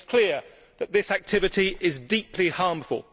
It makes clear that this activity is deeply harmful.